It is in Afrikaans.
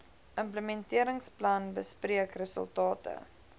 implementeringsplan bespreek resultate